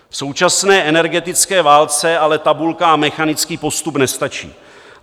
V současné energetické válce ale tabulka a mechanický postup nestačí.